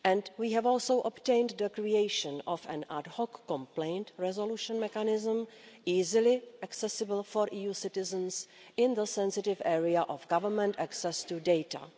We have also obtained the creation of an ad hoc complaint resolution mechanism, easily accessible for EU citizens in the sensitive area of government access to data.